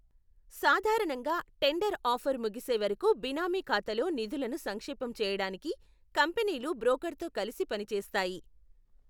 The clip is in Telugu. సాధారణంగా, టెండర్ ఆఫర్ ముగిసే వరకు బినామీ ఖాతాలో నిధులను సంక్షేపం చేయడానికి కంపెనీలు బ్రోకర్తో కలిసి పనిచేస్తాయి.